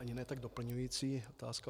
Ani ne tak doplňující otázka.